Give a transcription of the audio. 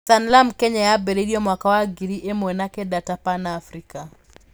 Sanlam Kenya yambĩrĩirio mwaka wa ngiri ĩmwe na kenda ta Pan Africa.